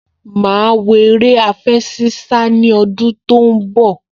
Màá wo eré àfẹṣinsá ní ọdún tó ń bọ̀